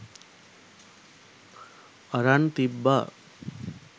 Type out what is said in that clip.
අරන් තිබ්බා